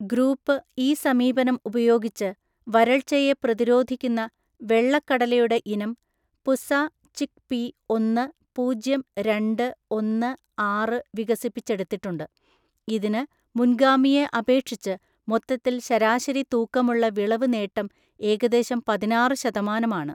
Group ഈ സമീപനം ഉപയോഗിച്ച് വരൾച്ചയെ പ്രതിരോധിക്കുന്ന വെള്ളക്കടലയുടെ ഇനം 'പുസ ചിക്ക്പീ ഒന്ന് പൂജ്യം രണ്ട് ഒന്ന്‍ ആറ്' വികസിപ്പിച്ചെടുത്തിട്ടുണ്ട്, ഇതിന് മുൻഗാമിയെ അപേക്ഷിച്ച് മൊത്തത്തിൽ ശരാശരി തൂക്കമുള്ള വിളവ് നേട്ടം ഏകദേശം പതിനാറു ശതമാനം ആണ്.